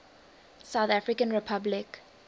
south african republic